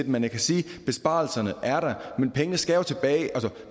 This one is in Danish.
men jeg kan sige besparelserne er der men pengene skal jo tilbage altså